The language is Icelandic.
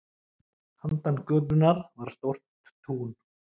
Handan götunnar var stórt tún.